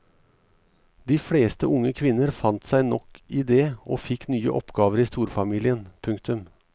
De fleste unge kvinner fant seg nok i det og fikk nye oppgaver i storfamilien. punktum